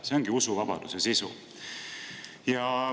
See ongi usuvabaduse sisu.